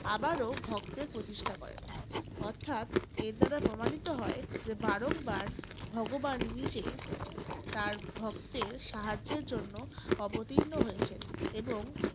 আবারো ভক্তের প্রতিষ্ঠা করেন। অর্থাৎ এর দ্বারা প্রমানিত হয় যে বারংবার ভগবান নিজে তাঁর ভক্তের সাহায্যের জন্য অবতীর্ণ হয়েছেন। এবং